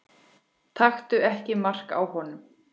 Taktu ekki mark á honum.